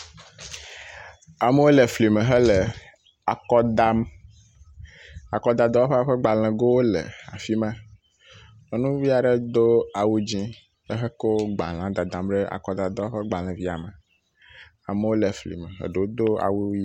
Amewo le fli me hele akɔ dam. Akɔdadɔwɔƒea ƒe gbalẽgowo le afi ma, nyɔnuvi aɖe do awu dzi ehekɔ gbalẽe dadam ɖe akɔdadɔwɔƒea ƒe gbalẽ via me, amewo le fli me, eɖewo do awu y….